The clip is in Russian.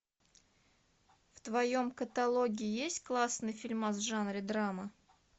в твоем каталоге есть классный фильмас в жанре драма